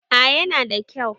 A yana da kyau